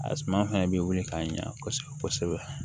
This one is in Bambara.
A suma fɛnɛ bɛ wuli k'a ɲɛ kosɛbɛ kosɛbɛ